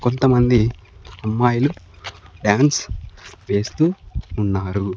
కొంతమంది అమ్మాయిలు డాన్స్ వేస్తూ ఉన్నారు.